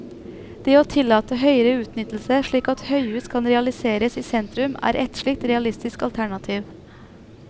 Det å tillate høyere utnyttelse slik at høyhus kan realiseres i sentrum, er ett slikt realistisk alternativ.